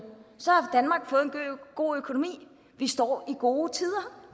god økonomi vi står i gode tider